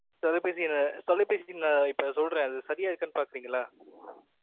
தொலைபேசி எண் தொலைபேசி எண் இப்ப சொல்றேன் அது சரியா இருக்கானு பாக்கறீங்களா